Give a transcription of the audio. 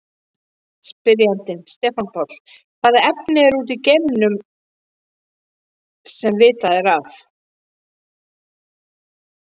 Spyrjandi: Stefán Páll Hvaða efni eru úti í geimnum, sem vitað er af?